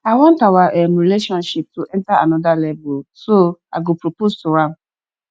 i want our um relationship to enter another level so i go propose to am